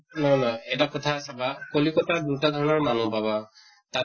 নহয় নহয় এটা কথা চাবা কলিকত্তাত দুটা ধৰণৰ মানুহ পাবা তাতে